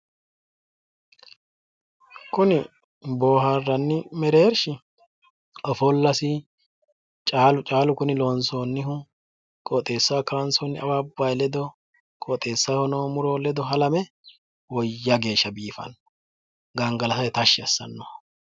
Kuni booharranni mereersh ofollas caalu caalu Kuni loonsoonihu qoxeesaho kaansooni awabay Ledo qoxeesaho noo muroy ledo halame woyya geshsha Biifanno gangalatate tashshi assanno